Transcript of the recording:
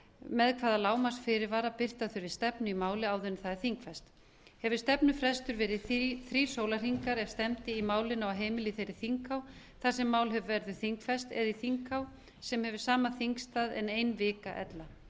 með hvaða lágmarksfyrirvara birta þurfi stefnu í falið áður en það er þingfest hefur stefnufrestur verið þrír sólarhringar ef stefndi í málinu á heimili í þeirri þinghá þar sem málið verður þingfest eða í þinghá sem hefur sama þingstað en ein vika ella